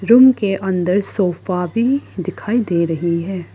Room के अंदर sofa भी दिखाई दे रही है।